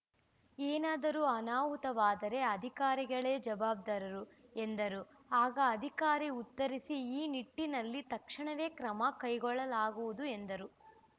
ಏನಾದರೂ ಅನಾಹುತವಾದರೆ ಅಧಿಕಾರಿಗಳೇ ಜವಾಬ್ದಾರರು ಎಂದರು ಆಗ ಅಧಿಕಾರಿ ಉತ್ತರಿಸಿ ಈ ನಿಟ್ಟಿನಲ್ಲಿ ತಕ್ಷಣವೇ ಕ್ರಮ ಕೈಗೊಳ್ಳಲಾಗುವುದು ಎಂದರು